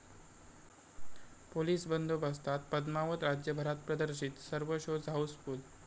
police बंदोबस्तात पद्मावत राज्यभरात प्रदर्शित, सर्व शोज हाऊसफुल्ल